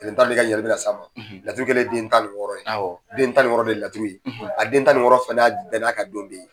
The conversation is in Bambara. ɲininkali bɛ na s'a ma, laturu kelen ye den tan ni wɔɔrɔ ye, den tan ni wɔɔrɔ de ye laturu ye, a den tan ni wɔɔrɔ fana bɛɛ n'a ka don bɛ ye.